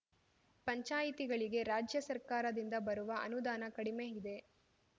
ಪಂಚಾಯಿತಿಗಳಿಗೆ ರಾಜ್ಯ ಸರ್ಕಾರದಿಂದ ಬರುವ ಅನುದಾನ ಕಡಿಮೆ ಇದೆ